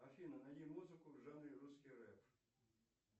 афина найди музыку в жанре русский рэп